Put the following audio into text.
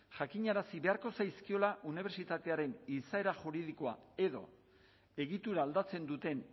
jakinarazi beharko zaizkiola unibertsitatearen izaera juridikoa edo egitura aldatzen duten